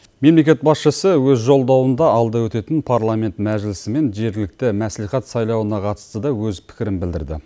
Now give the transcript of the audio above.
мемлекет басшысы өз жолдауында алда өтетін парламент мәжілісімен жергілікті мәслихат сайлауына қатысты да өз пікірін білдірді